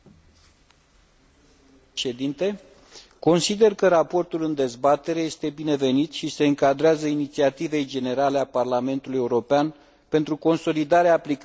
Consider că raportul în dezbatere este binevenit și se încadrează inițiativei generale a Parlamentului European pentru consolidarea aplicării drepturilor de proprietate intelectuală.